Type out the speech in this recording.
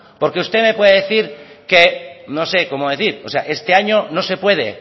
porque usted me puede decir que no sé cómo decir o sea este año no se puede